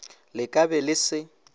le ka be le se